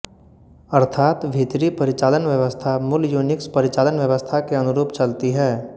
अर्थात भीतरी परिचालन व्यवस्था मूल युनिक्स परिचालन व्यवस्था के अनुरूप चलती है